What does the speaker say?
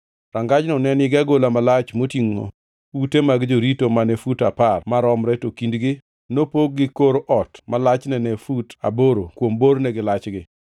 Rangajno ne nigi agola malach motingʼo ute mag jorito mane fut apar maromre to kindgi nopogi gi kor ot ma lachne ne fut aboro kuom borgi gi lachgi. To agola mar ohinga mane nitie e dhorangajno ne romo fut apar.